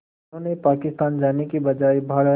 जिन्होंने पाकिस्तान जाने के बजाय भारत